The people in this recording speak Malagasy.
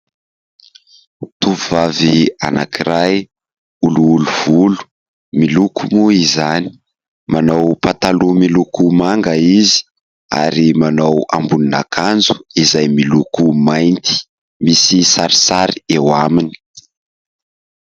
Tovovavy anankiray, oliloly volo, miloko moa izany. Manao pataloha miloko manga izy, ary manao ambonin'akanjo izay miloko mainty, misy sarisary eo aminy.